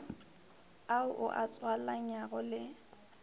ao o a tswalanyago le